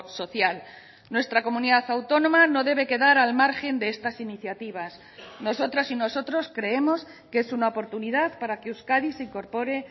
social nuestra comunidad autónoma no debe quedar al margen de estas iniciativas nosotras y nosotros creemos que es una oportunidad para que euskadi se incorpore